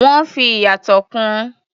Wọ́n fi ìyàtọ̀ kún un.